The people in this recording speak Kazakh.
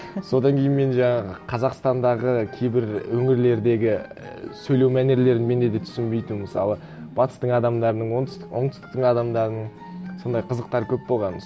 содан кейін мен жаңағы қазақстандағы кейбір өңірлердегі ііі сөйлеу мәнерлерін менде де түсінбейтінмін мысалы батыстың адамдарының оңтүстіктің адамдарының сондай қызықтар көп болған